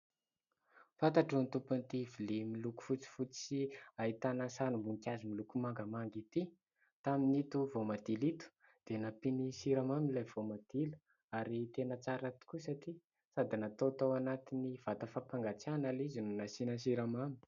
Fantatro ny tompon'ity vilia miloko fotsifotsy sy ahitana sarim-boninkazo miloko mangamanga ity. Tamin'ito voamadilo ito dia nampiany siramamy ilay voamadilo ary tena tsara tokoa satria sady natao tao anatin'ny vata fampangatsiahana ilay izy no nasiana siramamy.